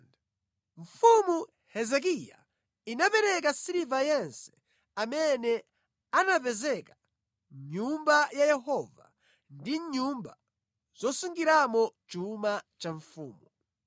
Mfumu Hezekiya inapereka siliva yense amene anapezeka mʼNyumba ya Yehova ndi mʼnyumba zosungiramo chuma cha mfumu.